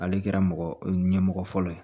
Ale kɛra mɔgɔ ɲɛmɔgɔ fɔlɔ ye